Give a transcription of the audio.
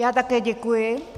Já také děkuji.